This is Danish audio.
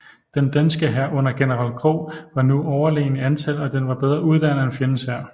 Den danske hær under general Krogh var nu overlegen i antal og den var bedre uddannet end fjendens hær